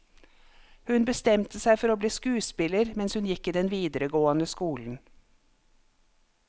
Hun bestemte seg for å bli skuespiller mens hun gikk i den videregående skole.